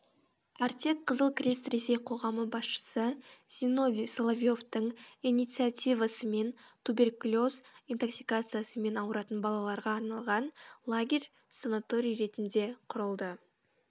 артек қызыл крест ресей қоғамы басшысы зиновий соловьевтің инициативасымен туберкулез интоксикациясымен ауыратын балаларға арналған лагерь санаторий ретінде құрылды